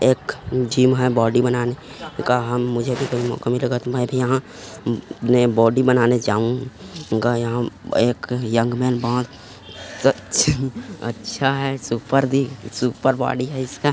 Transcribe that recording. एक जिम है बॉडी बनाने का हम मुझे भी लगा कि मैं भी यहाँ मैं बॉडी बनाने जाऊँगा यहाँ एक यंग मैन बोहोत सच अच्छा है सुपर दी सुपर बॉडी है इसका --